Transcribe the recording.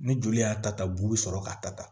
Ni joli y'a ta ta bu sɔrɔ k'a ta